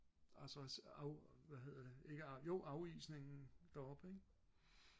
og så af hvad hedder det ikke af jo afisningen deroppe ikke